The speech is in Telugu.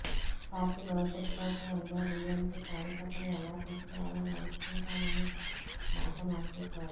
పార్టీ భవిష్యత్తు కోసం అన్నాడీఎంకే కార్యకర్తలు ఎలా చెబితే అలా నడుచుకుంటామని మాట మార్చేశారు